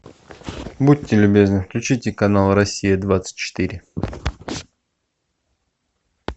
будьте любезны включите канал россия двадцать четыре